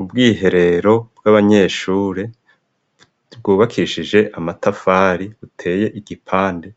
Ubwiherero bw'abanyeshure bwubakishije amatafari buteye igipande